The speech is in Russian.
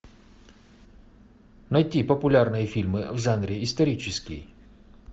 найти популярные фильмы в жанре исторический